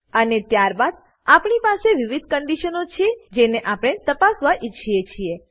અને ત્યારબાદ આપણી પાસે વિવિધ કંડીશનો છે જેને આપણે તપાસવા ઈચ્છીએ છીએ